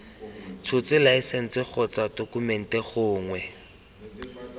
tshotse laesense gongwe tokumente gongwe